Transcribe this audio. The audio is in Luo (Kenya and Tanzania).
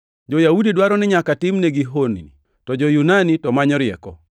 Jo-Yahudi dwaro ni nyaka timnegi honni, to jo-Yunani to manyo rieko,